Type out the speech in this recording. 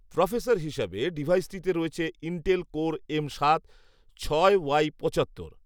processor হিসেবে ডিভাইসটিতে রয়েছে ইন্টেল কোর এম সাত ছয় ওয়াই পঁচাত্তর